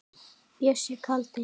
Bjössi kaldi.